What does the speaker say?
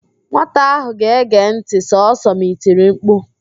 Nwata ahụ ga-ege ntị sọsọ ma i tiri mkpu